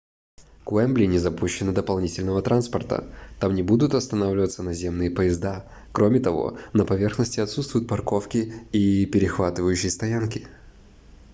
к уэмбли не запущено дополнительного транспорта там не будут останавливаться наземные поезда кроме того на поверхности отсутствуют парковки и перехватывающие стоянки